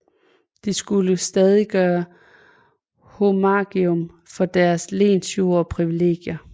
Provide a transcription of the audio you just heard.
De skulle stadig gøre homagium for deres lensjord og privilegier